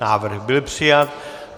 Návrh byl přijat.